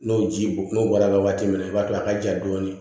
N'o ji bɔn n'o bɔra waati min na i b'a to a ka ja dɔɔni